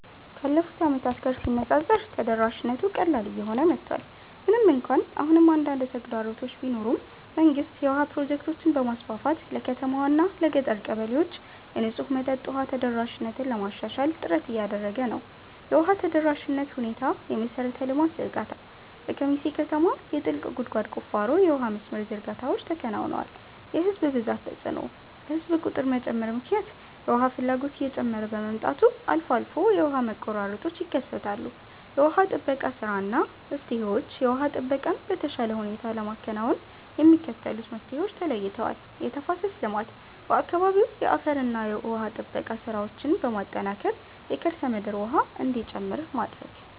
ካለፉት ዓመታት ጋር ሲነፃፀር ተደራሽነቱ ቀላል እየሆነ መጥቷል። ምንም እንኳን አሁንም አንዳንድ ተግዳሮቶች ቢኖሩም፣ መንግስት የውሃ ፕሮጀክቶችን በማስፋፋት ለከተማዋና ለገጠር ቀበሌዎች የንጹህ መጠጥ ውሃ ተደራሽነትን ለማሻሻል ጥረት እያደረገ ነው። የውሃ ተደራሽነት ሁኔታየመሠረተ ልማት ዝርጋታ፦ በኬሚሴ ከተማ የጥልቅ ጉድጓድ ቁፋሮና የውሃ መስመር ዝርጋታዎች ተከናውነዋል። የሕዝብ ብዛት ተጽዕኖ፦ በሕዝብ ቁጥር መጨመር ምክንያት የውሃ ፍላጎት እየጨመረ በመምጣቱ አልፎ አልፎ የውሃ መቆራረጦች ይከሰታሉ። የውሃ ጥበቃ ሥራና መፍትሄዎችየውሃ ጥበቃን በተሻለ ሁኔታ ለማከናወን የሚከተሉት መፍትሄዎች ተለይተዋል፦ የተፋሰስ ልማት፦ በአካባቢው የአፈርና ውሃ ጥበቃ ሥራዎችን በማጠናከር የከርሰ ምድር ውሃ እንዲጨምር ማድረግ።